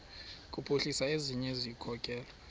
kuphuhlisa ezinye izikhokelo